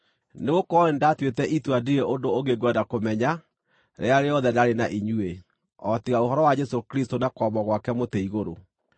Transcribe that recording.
Nĩgũkorwo nĩndatuĩte itua ndirĩ ũndũ ũngĩ ngwenda kũmenya, rĩrĩa rĩothe ndaarĩ na inyuĩ, o tiga ũhoro wa Jesũ Kristũ na kwambwo gwake mũtĩ-igũrũ.